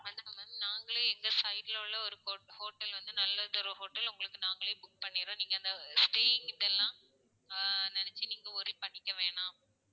நாங்களே எங்க side ல உள்ள ஒரு hote~hotel வந்து நல்லது ஒரு hotel நாங்களே உங்களுக்கு நாங்களே book பண்ணிர்றோம். நீங்க அந்த staying இதெல்லாம் ஆஹ் நினைச்சு நீங்க worry பண்ணிக்க வேணாம்.